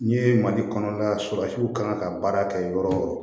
N'i ye mali kɔnɔla susu kan ka baara kɛ yɔrɔ o yɔrɔ